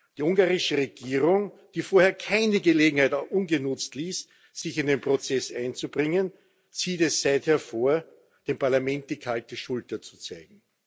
Die ungarische Regierung, die vorher keine Gelegenheit ungenutzt ließ, sich in dem Prozess einzubringen, zieht es seither vor, dem Parlament die kalte Schulter zu zeigen.